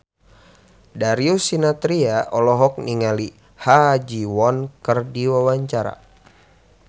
Darius Sinathrya olohok ningali Ha Ji Won keur diwawancara